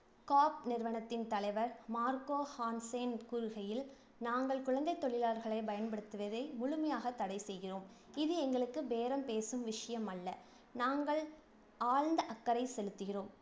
காப் நிறுவனத்தின் தலைவர் Marka Hansen கூறுகையில், நாங்கள் குழந்தைத் தொழிலாளர்களை பயன்படுத்துவதை முழுமையாக தடை செய்கிறோம். இது எங்களுக்கு பேரம் பேசும் விஷயமல்ல. நாங்கள் ஆழ்ந்த அக்கறை செலுத்துகிறோம்.